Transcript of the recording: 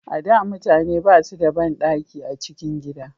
A da mutane ba su da banɗaki a cikin gida